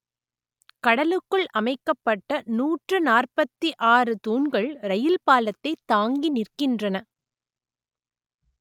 கடலுக்குள் அமைக்கப்பட்ட நூற்று நாற்பத்தி ஆறு தூண்கள் ரயில் பாலத்தை தாங்கி நிற்கின்றன